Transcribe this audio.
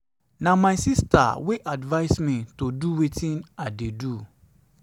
na my sister wey advice me to dey do wetin i dey do.